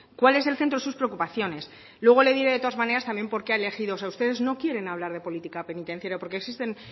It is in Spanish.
cuál es el centro de sus preocupaciones luego le diré de todas maneras también porqué ha elegido o sea ustedes no quieren hablar de política penitenciaria porque existen